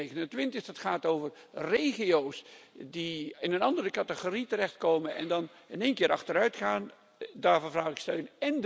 429. Dat gaat over regio's die in een andere categorie terechtkomen en dan in één keer achteruitgaan. Daarvoor vraag ik steun.